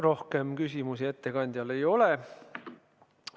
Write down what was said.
Rohkem küsimusi ettekandjale ei ole.